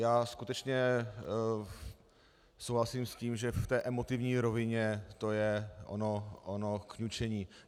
Já skutečně souhlasím s tím, že v té emotivní rovině to je ono kňučení.